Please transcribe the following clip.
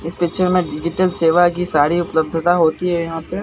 इस पिक्चर में डिजिटल सेवा की सारी उपलब्धता होती है यहां पे।